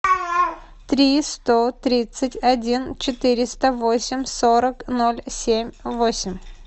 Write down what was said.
три сто тридцать один четыреста восемь сорок ноль семь восемь